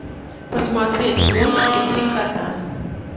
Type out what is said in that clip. посмотреть мультики три кота